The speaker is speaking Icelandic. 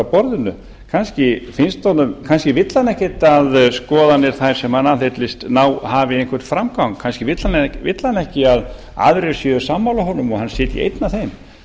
borðinu kannski vill hann ekkert að skoðanir þær sem hann aðhyllist hafi einhvern framgang kannski vill hann ekki að aðrir séu sammála honum og hann sitji einn að þeim